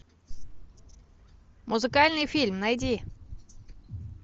музыкальный фильм найди